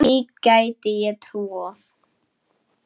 Því gæti ég trúað